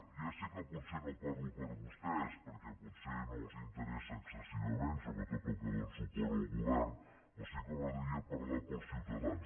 ja sé que potser no parlo per vostès perquè potser no els interessa excessivament sobretot el que dóna suport al govern però sí que m’agradaria parlar per als ciutadans